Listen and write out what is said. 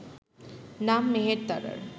নাম মেহের তারার